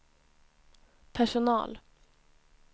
personal